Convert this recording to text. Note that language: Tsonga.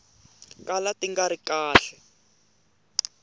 kala ti nga ri kahle